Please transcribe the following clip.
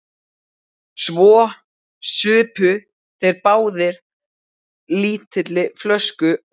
Svo supu þeir báðir á lítilli flösku og hlógu.